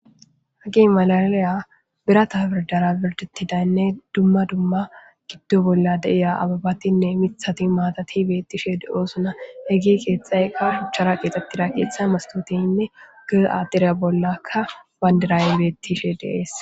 hagen malaliya birata birdara birdetidaynne dumma dumma giddo bolla deiya ababatinne mithati maatati beettishe de7oosuna heggi keexxaykka shuchchara qeexettida keeththa mastotenne gir aadire bollakka bandirayey beettishe deees